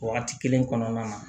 Wagati kelen kɔnɔna na